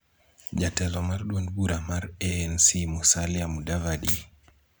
Jatelo mar duond bura mar ANC Musalia Mudavadi,